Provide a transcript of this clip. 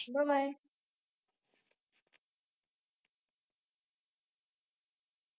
bye bye